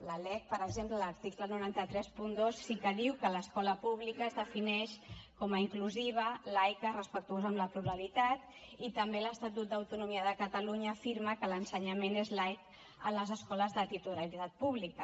la lec per exemple a l’article nou cents i trenta dos sí que diu que l’escola pública es defineix com a inclusiva laica respectuosa amb la pluralitat i també l’estatut d’autonomia de catalunya afirma que l’ensenyament és laic a les escoles de titularitat pública